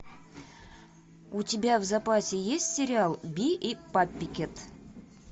у тебя в запасе есть сериал би и паппикэт